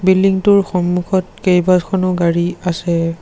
Building টোৰ সন্মুখত কেইবাখনো গাড়ী আছে।